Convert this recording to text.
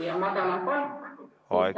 Hea Heljo Pikhof, aeg sai täis.